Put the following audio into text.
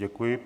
Děkuji.